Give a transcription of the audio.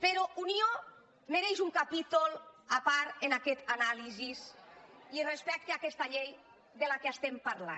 però unió mereix un capítol a part en aquesta anàlisi i respecte a aquesta llei de què estem parlant